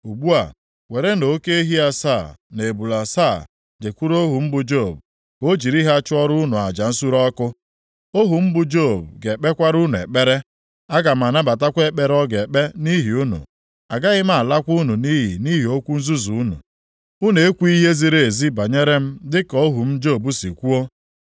Ugbu a, werenụ oke ehi asaa na ebule asaa, jekwuru ohu m bụ Job ka o jiri ha chụọrọ unu aja nsure ọkụ, ohu m bụ Job ga-ekpekwara unu ekpere. Aga m anabatakwa ekpere ọ ga-ekpe nʼihi unu. Agaghị m alakwa unu nʼiyi nʼihi okwu nzuzu unu. Unu ekwughị ihe ziri ezi banyere m dịka ohu m Job si kwuo.”